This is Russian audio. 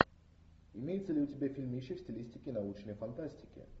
имеется ли у тебя фильмище в стилистике научной фантастики